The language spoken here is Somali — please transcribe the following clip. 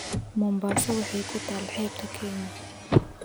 Mombasa waxay ku taal xeebta Kenya